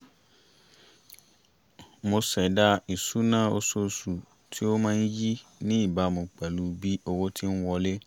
mo ṣẹ̀dá ìṣúná oṣooṣù tí ó máa ń yí ní ìbámu pẹ̀lú bí owó ti ń wọlé